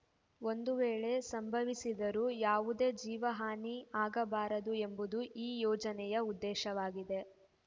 ಒಂದು ವೇಳೆ ಸಂಭವಿಸಿದರೂ ಯಾವುದೇ ಜೀವ ಹಾನಿ ಆಗಬಾರದು ಎಂಬುದು ಈ ಯೋಜನೆಯ ಉದ್ದೇಶವಾಗಿದೆ